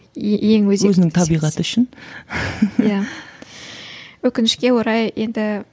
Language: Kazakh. ең өзекті өзінің табиғаты үшін иә өкінішке орай енді